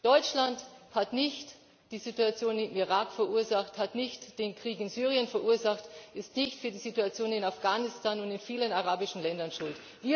wurden Deutschland hat nicht die Situation im Irak verursacht, hat nicht den Krieg in Syrien verursacht, ist nicht für die Situation in Afghanistan und in vielen arabischen Ländern